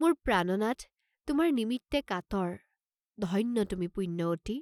মোৰ প্ৰাণনাথ তোমাৰ নিমিত্তে কাতৰ, ধন্য তুমি পুণ্যৱতী!